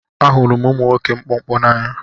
Ahụrụ m ụmụ nwoke mkpụmkpụ n'anya